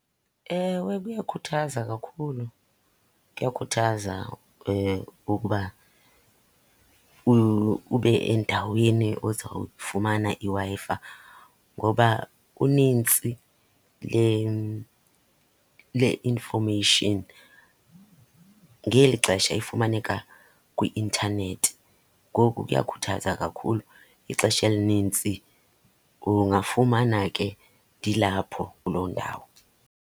Ewe, kuyakhuthaza kakhulu. Kuyakhuthaza ukuba ube endaweni ozawufumana iWi-Fi, ngoba unintsi le-information ngeli xesha ifumaneka kwi-intanethi. Ngoku kuyakhuthaza kakhulu. Ixesha elinintsi ungafumana ke ndilapho kuloo ndawo.